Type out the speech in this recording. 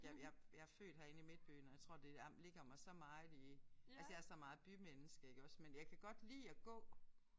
Jeg jeg jeg er født herinde i midtbyen og jeg tror det er ligger mig så meget i altså jeg er så meget bymenneske iggås men jeg kan godt lide at gå